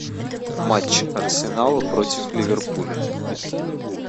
матч арсенала против ливерпуля